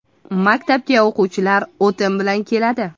Maktabga o‘quvchilar o‘tin bilan keladi.